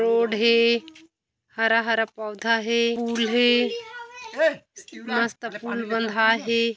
Road हे हरा-हरा पऊधा हे पुल हे मस्त पुल बँधाये हे।